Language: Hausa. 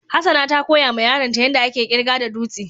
Hassana ta koya ma yaron ta yanda ake kirga da dutsi.